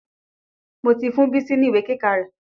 Mo ti fún Bísí ní ìwé kíkà rẹ̀.